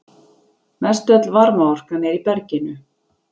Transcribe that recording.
Mestöll varmaorkan er í berginu.